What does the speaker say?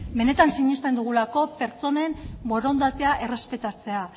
benetan sinesten dugulako pertsonen borondatea errespetatzea